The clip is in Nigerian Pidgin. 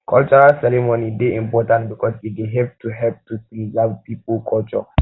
cultural ceremony dey important because e dey help to help to preserve pipo culture